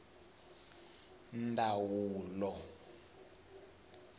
mdavula